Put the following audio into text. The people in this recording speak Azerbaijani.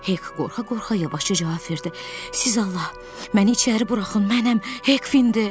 Hek qorxa-qorxa yavaşca cavab verdi: Siz Allah, məni içəri buraxın, mənəm, Hekfindir.